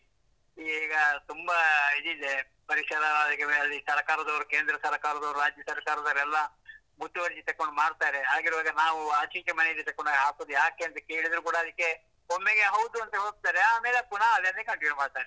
ಈಗ ತುಂಬಾ ಇದಿದೆ, ಪರಿಸರ ಸರಕಾರದವರು, ಕೇಂದ್ರ ಸರಕಾರದವರು, ರಾಜ್ಯ ಸರಕಾರದವರು, ಎಲ್ಲ ಮುತುವರ್ಜಿ ತಗೊಂಡು ಮಾಡ್ತಾರೆ ಹಾಗಿರುವಾಗ ನಾವು ಆಚ್ ಈಚೆ ಮನೆಯಲ್ಲಿ ತಗೊಂಡು ಹೋಗಿ ಹಾಕುದು ಯಾಕೆ ಅಂತ ಕೇಳಿದ್ರು ಕುಡಾ ಅದಕ್ಕೆ, ಒಮ್ಮೆಗೆ ಹೌದು ಅಂತ ಹೋಗ್ತಾರೆ ಆಮೇಲೆ ಪುನಃ ಅದನ್ನೇ continue ಮಾಡ್ತರೆ.